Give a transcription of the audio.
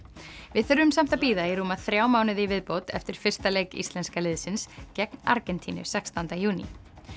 við þurfum samt að bíða í rúma þrjá mánuði í viðbót eftir fyrsta leik íslenska liðsins gegn Argentínu sextánda júní